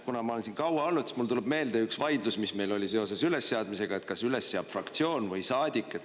Kuna ma olen siin kaua olnud, siis mulle tuleb meelde üks vaidlus, mis meil oli seoses ülesseadmisega: kas üles seab fraktsioon või saadik?